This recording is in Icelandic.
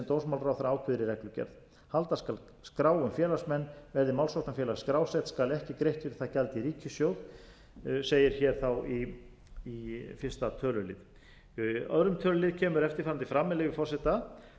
dómsmálaráðherra ákveður í reglugerð halda skal skrá um félagsmenn verði málsóknarfélag skrásett skal ekki greitt fyrir það gjald í ríkissjóð segir hér í fyrsta tölulið í öðrum tölulið kemur eftirfarandi fram með leyfi forseta